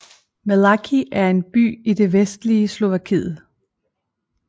Malacky er en by i det vestlige Slovakiet